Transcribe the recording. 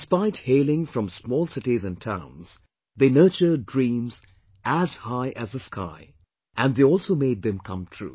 Despite hailing from small cities and towns, they nurtured dreams as high as the sky, and they also made them come true